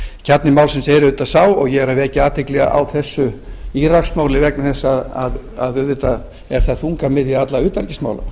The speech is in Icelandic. kjarni málsins er auðvitað sá og ég er að vekja athygli á þessu íraksmálið vegna þess að auðvitað er það þungamiðja allra utanríkismála